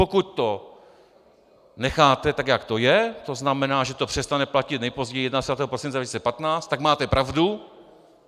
Pokud to necháte tak, jak to je, to znamená, že to přestane platit nejpozději 31. prosince 2015, tak máte pravdu.